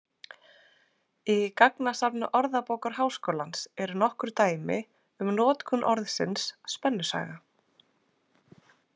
Í gagnasafni Orðabókar Háskólans eru nokkur dæmi um notkun orðsins spennusaga.